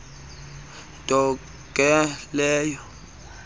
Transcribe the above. nto ke leyo